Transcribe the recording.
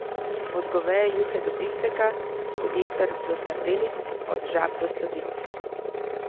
Od goveje juhe do bifteka, od jetrc do sardelic, od žab do sladic ...